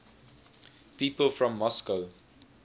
people from moscow